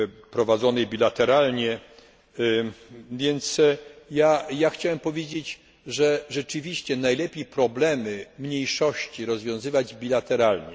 prowadzonej bilateralnie, więc chciałem powiedzieć, że rzeczywiście najlepiej problemy mniejszości rozwiązywać bilateralnie.